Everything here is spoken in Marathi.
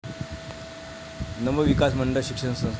नवविकास मंडळ शिक्षण संस्था